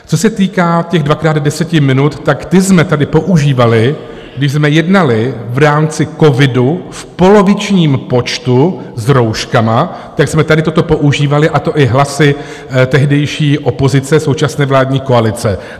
Co se týká těch dvakrát deset minut, tak ty jsme tady používali, když jsme jednali v rámci covidu v polovičním počtu s rouškami, tak jsme tady toto používali, a to i hlasy tehdejší opozice, současné vládní koalice.